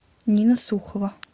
нина сухова